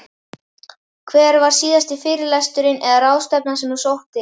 Hver var síðasti fyrirlesturinn eða ráðstefnan sem þú sóttir?